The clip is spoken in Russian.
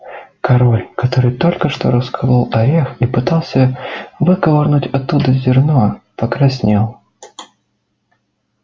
король который только что расколол орех и пытался выковырнуть оттуда зерно покраснел